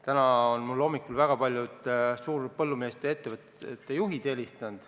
Täna hommikul on mulle helistanud väga paljud suurte põllumajandusettevõtete juhid.